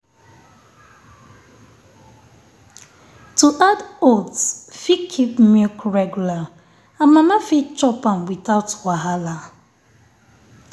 to add oats fit keep milk regular and mama fit chop am without wahala.